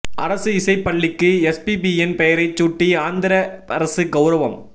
அரசு இசைப் பள்ளிக்கு எஸ்பிபியின் பெயரைச் சூட்டி ஆந்திர அரசு கவுரவம்